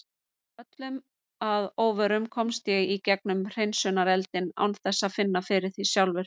Öllum að óvörum komst ég í gegnum hreinsunareldinn án þess að finna fyrir því sjálfur.